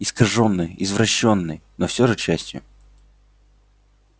искажённой извращённой но всё же частью